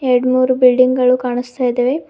ಎರಡ್ಮೂರು ಬಿಲ್ಡಿಂಗ್ ಗಳು ಕಾಣಿಸ್ತಾ ಇದವೆ.